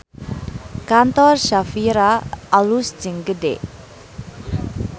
Kantor Shafira alus jeung gede